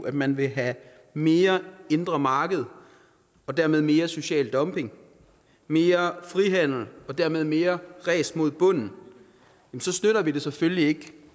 at man vil have mere indre marked og dermed mere social dumping mere frihandel og dermed mere ræs mod bunden så støtter vi det selvfølgelig ikke